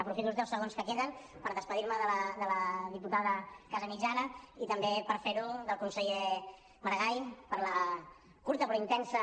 aprofito els deu segons que queden per acomiadar me de la diputada casamitjana i també per fer ho del conseller maragall per la curta però intensa